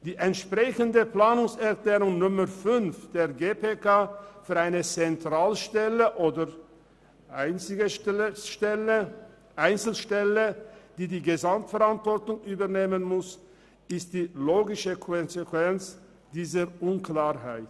Die entsprechende Planungserklärung 5 der GPK für eine Zentralstelle oder Einzelstelle, welche die Gesamtverantwortung übernehmen muss, ist die logische Konsequenz dieser Unklarheit.